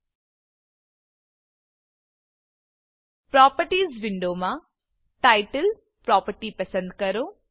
properties properties વિન્ડોમાં title title property પસંદ કરો